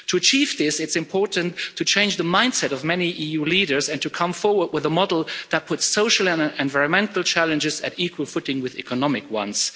To achieve this, it's important to change the mind set of many EU leaders and to come forward with a model that puts social and environmental challenges on an equal footing with economic ones.